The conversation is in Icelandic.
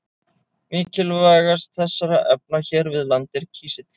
Mikilvægast þessara efna hér við land er kísill.